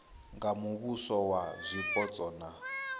nga muvhuso wa zwipotso na